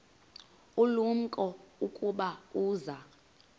ulumko ukuba uza